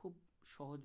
ভাবে